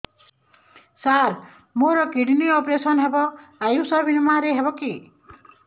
ସାର ମୋର kidney operation ହେବ ଆୟୁଷ ବିମାରେ ହେବ କି